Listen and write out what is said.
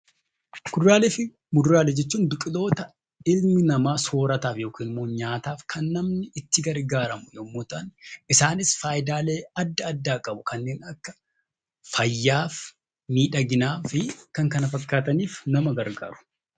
Kuduraalee fi muduraalee jechuun ilmi namaa soorataaf yookiin immoo nyaataaf kan itti gargaaramu yammuu ta'an isaannis faayidaalee addaa qabu. Kanneen akka fayyaaf, miidhaginaaf fi kan kan fakkaataniif nama gargaaru.